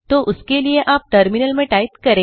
तो उस के लिए आप टर्मिनल में टाइप करें